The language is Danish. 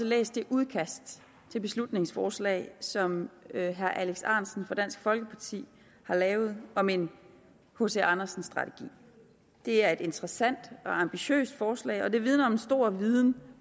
læst det udkast til beslutningsforslag som herre alex ahrendtsen fra dansk folkeparti har lavet om en hc andersen strategi det er et interessant og ambitiøst forslag og det vidner om en stor viden